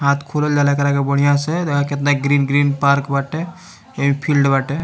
हाथ खोलल जाला एकरा के बढ़िया से देखा कितना ग्रीन - ग्रीन पार्क बाटे ये फील्ड बाटे।